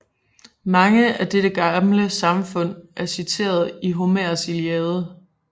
Mange af dets gamle samfund er citeret i Homers Iliade